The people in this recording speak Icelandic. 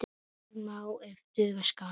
Betur má ef duga skal!